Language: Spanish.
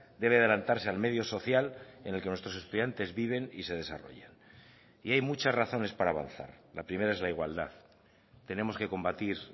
debe adelantarse al medio social en el que nuestros estudiantes viven y se desarrollan y hay muchas razones para avanzar la primera es la igualdad tenemos que combatir